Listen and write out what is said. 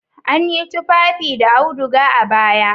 An yi tufafi da auduga a baya.